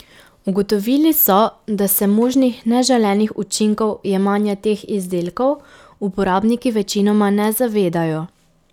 Ugotovili so, da se možnih neželenih učinkov jemanja teh izdelkov uporabniki večinoma ne zavedajo.